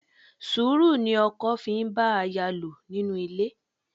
Sùúrù ni ọkọ fi ń bá aya lò nínú ilé.